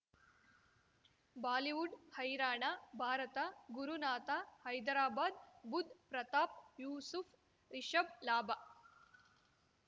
Bollywood ಹೈರಾಣ ಭಾರತ ಗುರುನಾಥ ಹೈದರಾಬಾದ್ ಬುಧ್ ಪ್ರತಾಪ್ ಯೂಸುಫ್ ರಿಷಬ್ ಲಾಭ